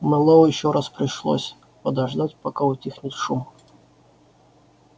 мэллоу ещё раз пришлось подождать пока утихнет шум